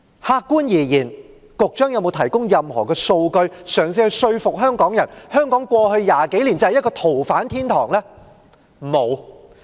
客觀而言，局長有否提供任何數據嘗試說服香港人，香港過去20多年就是一個逃犯天堂呢？